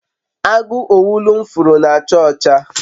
agu owulu m furu na acha ocha